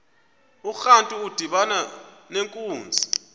urantu udibana nenkunzi